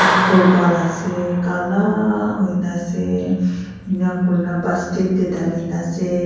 vur bhal ase kala hoina ase enika kurina basket dhali la ase.